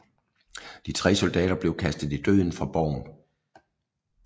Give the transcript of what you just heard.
De tre soldater blev kastet i døden fra borgen